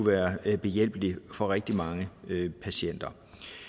være en hjælp for rigtig mange patienter